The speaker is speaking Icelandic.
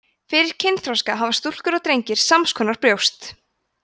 fyrir kynþroska hafa stúlkur og drengir sams konar brjóst